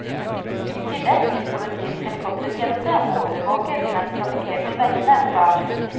I tillegg vil politiets helikoptertjeneste overvåke de mest trafikkerte veiene fra luften.